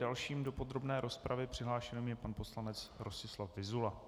Dalším do podrobné rozpravy přihlášeným je pan poslanec Rostislav Vyzula.